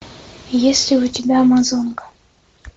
есть ли у тебя амазонка